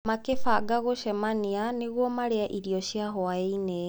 Makĩbanga gũcemania nĩguo marĩe irio cia hwaĩ-inĩ.